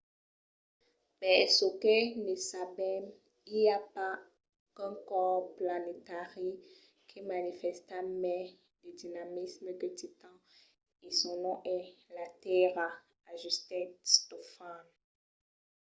per çò que ne sabèm i a pas qu’un còrs planetari que manifèsta mai de dinamisme que titan e son nom es la tèrra, ajustèt stofan